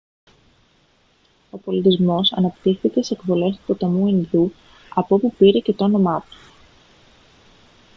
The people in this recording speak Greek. ο πολιτισμός αναπτύχθηκε στις εκβολές του ποταμού ινδού από όπου πήρε και το όνομά του